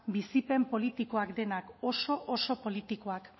bizipen politikoak denak oso oso politikoak